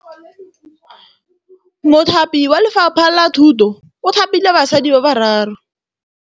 Mothapi wa Lefapha la Thutô o thapile basadi ba ba raro.